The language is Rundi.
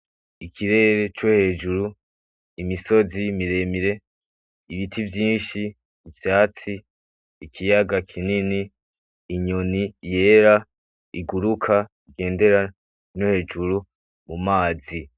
Ikirere co hejuru. Imisozi miremire. Ibiti vyinshi, ivyatsi, Ikiyaga kinini inyoni yera iguruka igendera no hejuru mumazi.